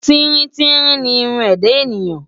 Tíríntírín ni irun ẹ̀dá ènìyàn.